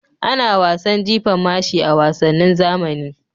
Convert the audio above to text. Ana wasan jifan mashi a wasannin zamani.